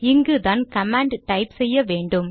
இங்குதான் கமாண்டை டைப் செய்ய வேண்டும்